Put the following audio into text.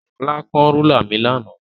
Shola kán rúlà mi lánàá.